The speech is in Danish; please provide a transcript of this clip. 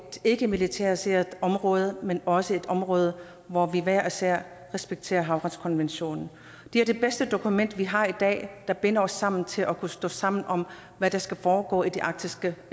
ikkemilitariseret område men også et område hvor vi hver især respekterer havretskonventionen det er det bedste dokument vi har i dag der binder os sammen til at kunne stå sammen om hvad der skal foregå i det arktiske